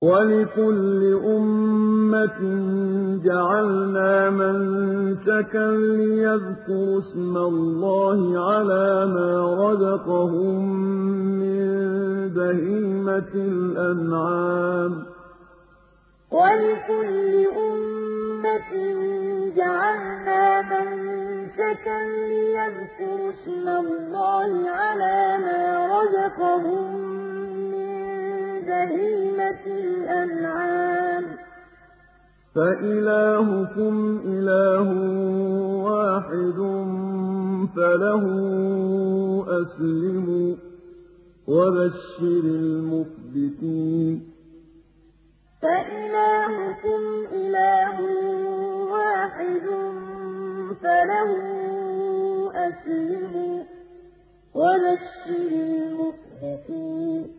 وَلِكُلِّ أُمَّةٍ جَعَلْنَا مَنسَكًا لِّيَذْكُرُوا اسْمَ اللَّهِ عَلَىٰ مَا رَزَقَهُم مِّن بَهِيمَةِ الْأَنْعَامِ ۗ فَإِلَٰهُكُمْ إِلَٰهٌ وَاحِدٌ فَلَهُ أَسْلِمُوا ۗ وَبَشِّرِ الْمُخْبِتِينَ وَلِكُلِّ أُمَّةٍ جَعَلْنَا مَنسَكًا لِّيَذْكُرُوا اسْمَ اللَّهِ عَلَىٰ مَا رَزَقَهُم مِّن بَهِيمَةِ الْأَنْعَامِ ۗ فَإِلَٰهُكُمْ إِلَٰهٌ وَاحِدٌ فَلَهُ أَسْلِمُوا ۗ وَبَشِّرِ الْمُخْبِتِينَ